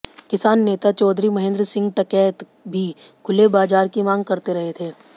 किसान नेता चौधरी महेंद्र सिंह टिकैत भी खुले बाजार की मांग करते रहे थे